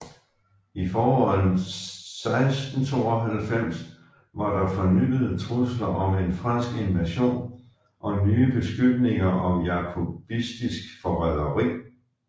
I foråret 1692 var der fornyede trusler om en fransk invasion og nye beskyldninger om jakobistisk forræderi